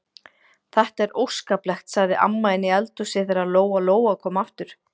Þetta er óskaplegt, sagði amma inni í eldhúsi þegar Lóa-Lóa kom aftur.